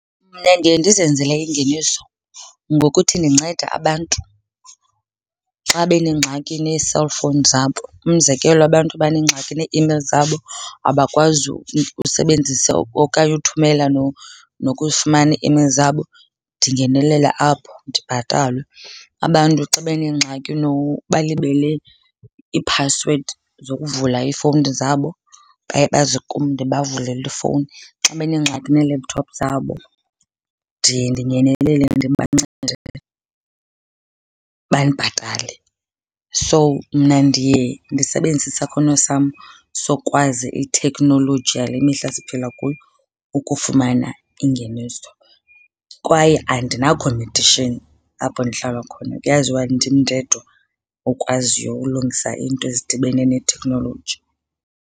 Mna ndiye ndizenzele ingeniso ngokuthi ndincede abantu xa benengxaki nee-cellphones zabo. Umzekelo, abantu abanengxaki nee-emails zabo abakwazi usebenzisa okanye uthumela nokufumana ii-emails zabo ndingenelele apho ndibhatalwe. Abantu xa benengxaki balibele iiphasiwedi zokuvula iifowuni zabo baye baze kum ndibavulele ifowuni. Xa benengxaki nee-laptop zabo ndiye ndingenelele ndibancede, bandibhatale. So, mna ndiye ndisebenzise isakhono sam sokwazi itheknoloji yale mihla siphila kuyo ukufumana ingeniso kwaye andinakhompethishini apho ndihlala khona. Kuyaziwa ndim ndedwa okwaziyo ukulungisa iinto ezidibene neetheknoloji.